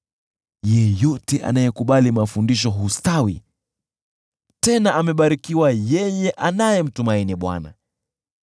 Yeyote anayekubali mafundisho hustawi, tena amebarikiwa yeye anayemtumaini Bwana .